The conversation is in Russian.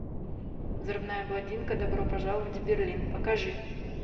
взрывная блондинка добро пожаловать в берлин покажи